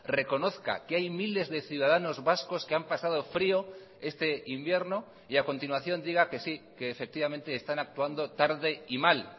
reconozca que hay miles de ciudadanos vascos que han pasado frio este invierno y a continuación diga que sí que efectivamente están actuando tarde y mal